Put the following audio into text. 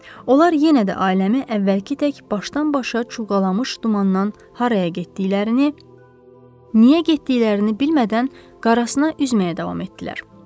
Onlar yenə də ailəmi əvvəlki tək başdan-başa cuğalamış dumandan haraya getdiklərini niyə getdiklərini bilmədən qarasına üzməyə davam etdilər.